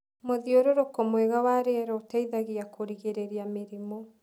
Mũthiũrũrũko mwega wa rĩera ũteithagia kũrigĩrĩria mĩrimũ.